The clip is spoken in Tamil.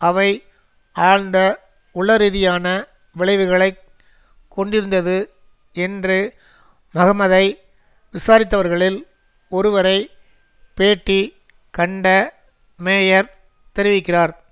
அவை ஆழ்ந்த உளரீதியான விளைவுகளை கொண்டிருந்தது என்று மகமதை விசாரித்தவர்களில் ஒருவரை பேட்டி கண்ட மேயர் தெரிவிக்கிறார்